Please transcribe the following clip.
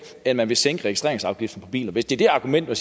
end man vil sænke registreringsafgiften på biler hvis det det er argumentet